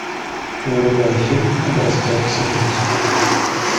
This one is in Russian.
врубай фильм образцовый самец